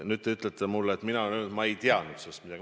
Nüüd te ütlete mulle, et mina olen öelnud: ma ei teadnud sellest midagi.